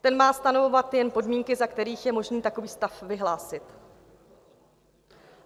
Ten má stanovovat jen podmínky, za kterých je možné takový stav vyhlásit.